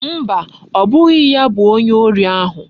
Mba, obughi ya bu onye ori ahu